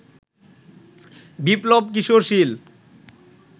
বিপ্লব Kishore শীল